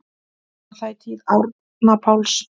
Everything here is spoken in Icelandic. Var það í tíð Árna Páls